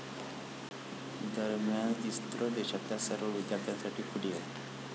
दरम्यान, इस्रो देशातल्या सर्व विद्यार्थ्यांसाठी खुली आहे.